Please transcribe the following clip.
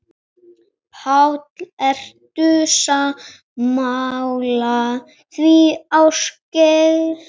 Páll: Ertu sammála því, Ásgeir?